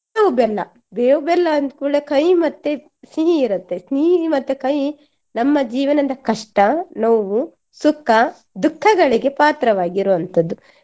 ಬೇವು ಬೆಲ್ಲ ಬೇವು ಬೆಲ್ಲ ಅಂದ್ಕೂಡ್ಲೇ ಕಹಿ ಮತ್ತೆ ಸಿಹಿ ಇರತ್ತೆ ಸಿಹಿ ಮತ್ತೆ ಕಹಿ ನಮ್ಮ ಜೀವನದ ಕಷ್ಟ ನೋವು ಸುಖ ದುಖಗಳಿಗೆ ಪಾತ್ರವಾಗಿರುವಂತದ್ದು.